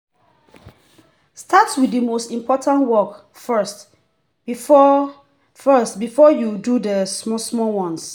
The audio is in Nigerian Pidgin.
start with the most important work first before first before you do the small-small ones.